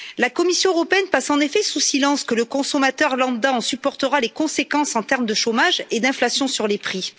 La Commission européenne passe en effet sous silence que le consommateur lambda en supportera les conséquences sur le plan du chômage et de l'inflation sur les prix.